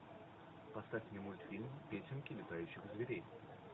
поставь мне мультфильм песенки летающих зверей